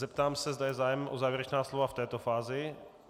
Zeptám se, zda je zájem o závěrečná slova v této fázi.